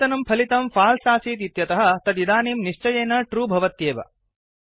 पूर्वतनं फलितं फाल्स् आसीत् इत्यतः तदिदानीं निश्चयेन ट्रू भवत्येव